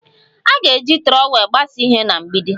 A ga-eji trọwel gbasaa ihe na mgbidi